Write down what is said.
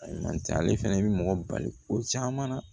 Ayiwa ale fana bɛ mɔgɔ bali ko caman na